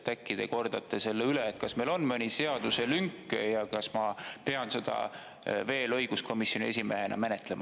Äkki te kordate selle üle, kas meil on mõni seaduselünk ja kas ma pean seda veel õiguskomisjoni esimehena menetlema.